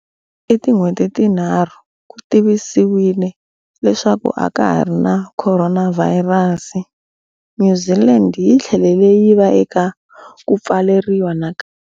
I tin'hweti tinharhu ku tivisiwile leswaku a ka ha ri na khoronavhayirasi, New Zealand yi tlhele yi va eka ku pfaleriwa nakambe.